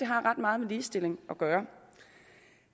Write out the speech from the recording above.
har ret meget med ligestilling at gøre